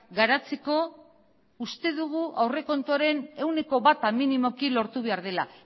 garatzeko uste dugu aurrekontuaren ehuneko bata minimoki lortu behar dela